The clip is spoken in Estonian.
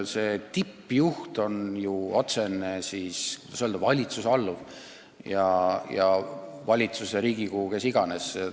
See tippjuht on ju otsene, kuidas öelda, valitsuse või Riigikogu alluv.